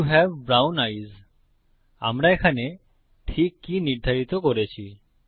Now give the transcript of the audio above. you have brown eyes আমরা এখানে ঠিক কি নির্ধারিত করেছি